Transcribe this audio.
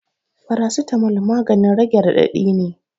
Farasitamol maganin rage raɗaɗi ne